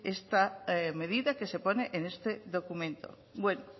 esta medida que se pone en este documento bueno